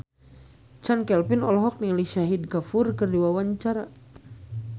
Chand Kelvin olohok ningali Shahid Kapoor keur diwawancara